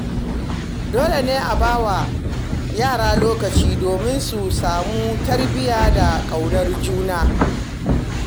Dole ne a ba wa yara lokaci domin su samu tarbiyya da ƙaunar iyaye.